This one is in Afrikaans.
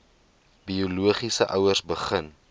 biologiese ouers begin